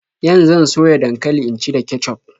Yan zan soya dankali in ci da kecuf.